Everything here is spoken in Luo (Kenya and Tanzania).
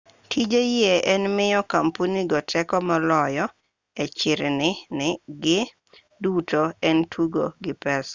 tije yie en miyo kampunigo teko moloyo e chirni-gi duto en tugo gi pesa